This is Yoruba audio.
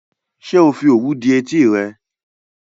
Ṣé ò fi òwú dí etí rẹ?